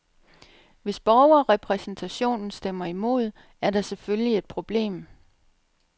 Hvis borgerrepræsentationen stemmer imod, er der selvfølgelig et problem.